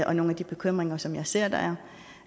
og nogle af de bekymringer som jeg ser